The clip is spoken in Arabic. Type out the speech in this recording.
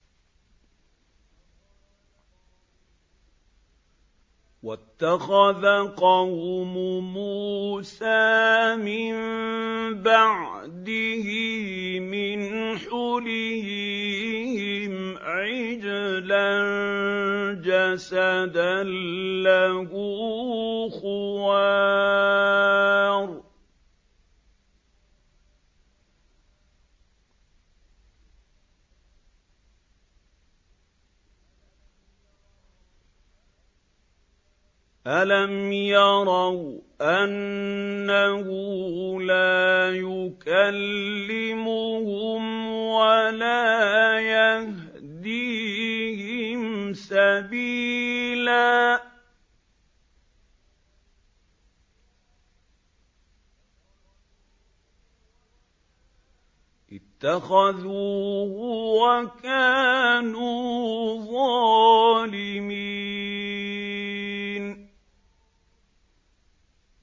وَاتَّخَذَ قَوْمُ مُوسَىٰ مِن بَعْدِهِ مِنْ حُلِيِّهِمْ عِجْلًا جَسَدًا لَّهُ خُوَارٌ ۚ أَلَمْ يَرَوْا أَنَّهُ لَا يُكَلِّمُهُمْ وَلَا يَهْدِيهِمْ سَبِيلًا ۘ اتَّخَذُوهُ وَكَانُوا ظَالِمِينَ